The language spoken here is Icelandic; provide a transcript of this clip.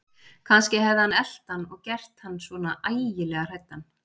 Kannski hefði hann elt hann og gert hann svona ægilega hræddan.